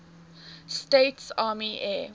states army air